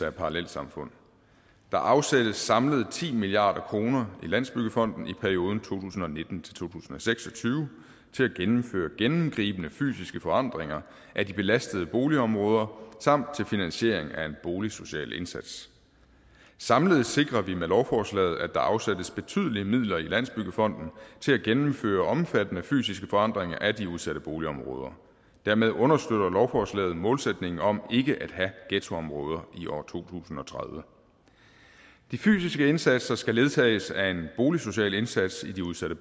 af parallelsamfund der afsættes samlet ti milliard kroner i landsbyggefonden i perioden to tusind og nitten til seks og tyve til at gennemføre gennemgribende fysiske forandringer af de belastede boligområder samt til finansiering af en boligsocial indsats samlet sikrer vi med lovforslaget at der afsættes betydelige midler i landsbyggefonden til at gennemføre omfattende fysiske forandringer af de udsatte boligområder dermed understøtter lovforslaget målsætningen om ikke at have ghettoområder i år to tusind og tredive de fysiske indsatser skal ledsages af en boligsocial indsats i de udsatte